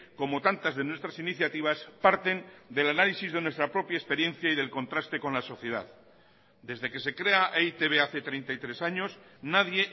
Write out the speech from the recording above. como tantas de nuestras iniciativas parten del análisis de nuestra propia experiencia y del contraste con la sociedad desde que se crea e i te be hace treinta y tres años nadie